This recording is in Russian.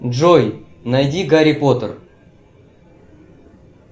джой найди гарри поттер